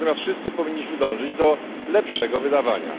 Natomiast wszyscy powinniśmy dążyć do lepszego wydawania.